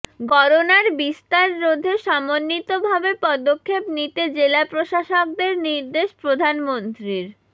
করোনার বিস্তার রোধে সমন্বিতভাবে পদক্ষেপ নিতে জেলা প্রশাসকদের নির্দেশ প্রধানমন্ত্রীর